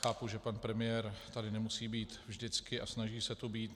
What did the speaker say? Chápu, že pan premiér tady nemusí být vždycky a snaží se tu být.